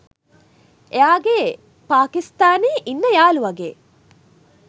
එයාගේ පාකිස්තානේ ඉන්න යාළුවගේ